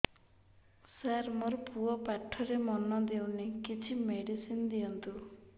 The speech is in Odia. ସାର ମୋର ପୁଅ ପାଠରେ ମନ ଦଉନି କିଛି ମେଡିସିନ ଦିଅନ୍ତୁ